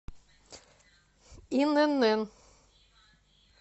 инн